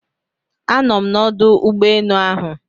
Anọ m n'ọdụ ụgbọ enu ahụ